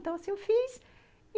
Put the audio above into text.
Então, assim, eu fiz.